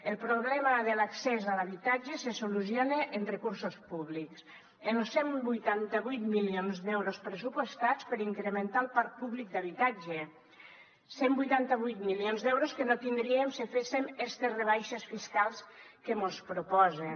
el problema de l’accés a l’habitatge se soluciona amb recursos públics amb los cent i vuitanta vuit milions d’euros pressupostats per incrementar el parc públic d’habitatge cent i vuitanta vuit milions d’euros que no tindríem si féssem estes rebaixes fiscals que mos proposen